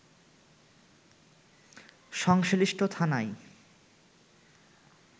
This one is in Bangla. সংশ্লিষ্ট থানায়